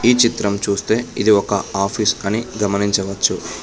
ఈ చిత్రం చూస్తే ఇది ఒక ఆఫీస్ అని గమనించవచ్చు.